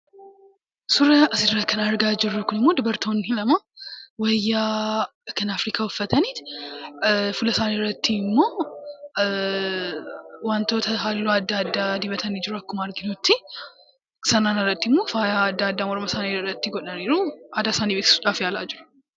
Suuraa kana irratti kan argaa jirru immoo dubartoonni lama wayyaa kan Afrikaa uffataniiti fuula isaanii irratti immoo wantoota halluu adda addaa dibataniitu jiru; akkuma arginutti. Sanaan alatti immoo faayaa adda addaa morma isaanii irratti godhanii jiru. Aadaa isaanii beeksisuudhaaf yaalaa jiru.